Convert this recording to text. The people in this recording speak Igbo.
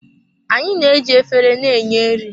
Anyị na-eji efere na-enye nri.